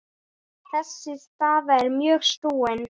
Þessi staða er mjög snúin.